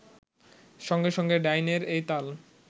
সঙ্গে সঙ্গে ডাইনার এই তাল